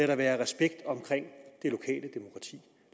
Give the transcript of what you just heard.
der være respekt omkring